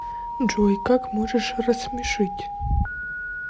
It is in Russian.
джой как можешь рассмешить